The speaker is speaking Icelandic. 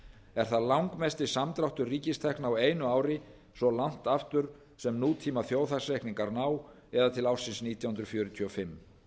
er það langmesti samdráttur ríkistekna á einu ári svo langt aftur sem nútíma þjóðhagsreikningar ná eða til ársins nítján hundruð fjörutíu og fimm